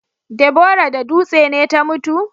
Deborah da dutse ne ta mutu?